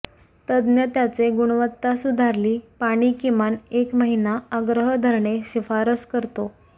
तज्ञ त्याचे गुणवत्ता सुधारली पाणी किमान एक महिना आग्रह धरणे शिफारस करतो